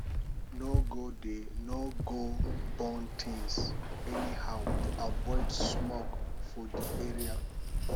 no go dey go dey burn things anyhow to avoid smoke for di area